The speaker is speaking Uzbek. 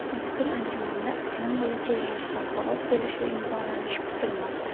Mazkur anjumanda iqlim bo‘yicha yangi xalqaro kelishuv imzolanishi kutilmoqda.